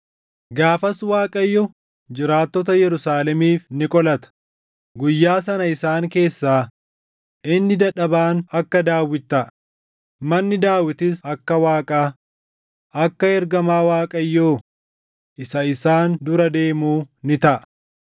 Gaafas Waaqayyo jiraattota Yerusaalemiif ni qolata; guyyaa sana isaan keessaa inni dadhabaan akka Daawit taʼa; manni Daawitis akka Waaqaa, akka ergamaa Waaqayyoo isa isaan dura deemuu ni taʼa.